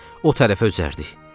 O tərəfə üzərdik.